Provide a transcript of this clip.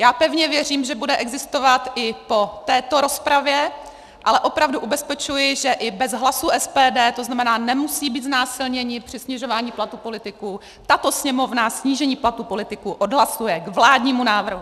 Já pevně věřím, že bude existovat i po této rozpravě, ale opravdu ubezpečuji, že i bez hlasů SPD, to znamená, nemusí být znásilněni při snižování platů politiků, tato Sněmovna snížení platů politiků odhlasuje - k vládnímu návrhu!